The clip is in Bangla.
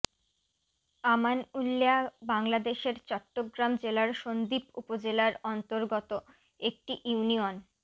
আমানউল্যা বাংলাদেশের চট্টগ্রাম জেলার সন্দ্বীপ উপজেলার অন্তর্গত একটি ইউনিয়ন